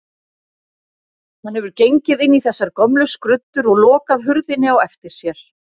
Hann hefur gengið inn í þessar gömlu skruddur og lokað hurðinni á eftir sér.